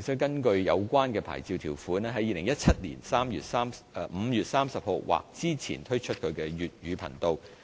須根據有關牌照條款，於2017年5月30日或之前推出其粵語頻道。